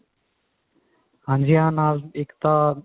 ਹਾਂਜੀ ਹਾਂ ਨਾਲ ਇੱਕ ਤਾਂ